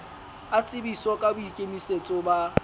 a tsebiswe ka boikemisetso ba